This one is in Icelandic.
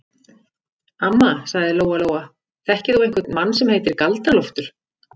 Amma, sagði Lóa-Lóa, þekkir þú einhvern mann sem heitir Galdra-Loftur?